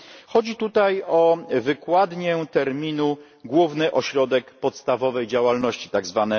Chodzi tutaj o wykładnię terminu główny ośrodek podstawowej działalności tzw.